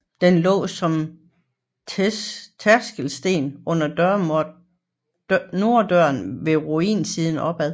Den lå som tærskelsten under norddøren med runesiden opad